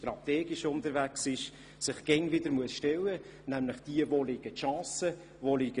Solche Fragen muss sich eine Regierung immer wieder stellen, wenn sie strategisch unterwegs ist.